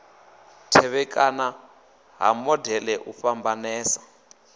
tevhekana ha modele u fhambanesa